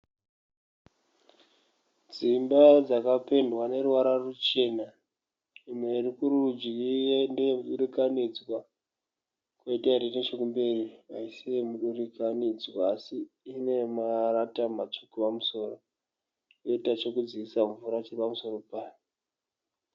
Dzimba dzakapendwa neruvara ruchena. Imwe iri kurudyi ndeye mudurikanidzwa kwoita iri nechekumberi haisi yemudurikanidzwa asi ine marata matsvuka pamusoro yoita chekudzikisa mvura chiri pamusoro payo.